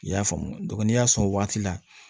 I y'a faamu n'i y'a sɔn o waati la